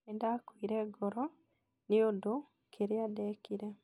nĩ nda kũire ngoro ni undũ kĩria ndĩkĩrĩ